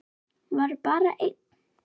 Var bara einn?